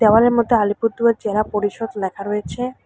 দেওয়ালের মধ্যে আলিপুরদুয়ার জেলা পরিষদ ল্যাখা রয়েছে।